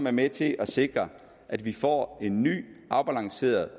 er med til at sikre at vi får en ny afbalanceret